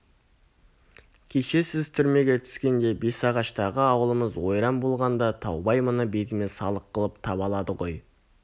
кеше сіз түрмеге түскенде бесағаштағы ауылымыз ойран болғанда таубай мұны бетіме салық қылып табалады ғой